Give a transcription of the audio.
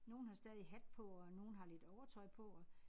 Nogle har stadig hat på og nogle har lidt overtøj på og